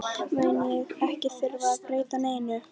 mun ég ekki þurfa að breyta neinu.